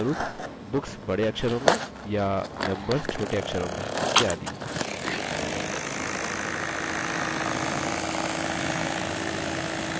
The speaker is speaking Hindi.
उदाहरणस्वरुप: books बड़े अक्षरों में या members छोटे अक्षरों में इत्यादि